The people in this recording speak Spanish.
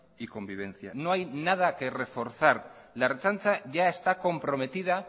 y convivencia no hay nada que reforzar la ertzaintza ya está comprometida